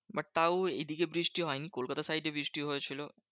But তাও এদিকে বৃষ্টি হয়নি কলকাতার side এ বৃষ্টি হয়েছিল।